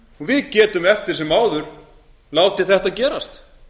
við getum eftir sem áður látið þetta gerast